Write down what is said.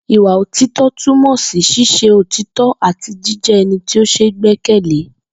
Ìwà òtító̩ túmò̩ sí s̩ís̩e òtító̩ àti jíjé̩ e̩ni tó s̩e é gbé̩kè̩lé